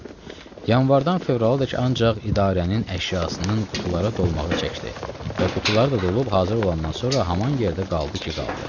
Yanvardan fevraladək ancaq idarənin əşyasının qutulara dolmağı çəkdi və qutular da dolub hazır olandan sonra haman yerdə qaldı ki, qaldı.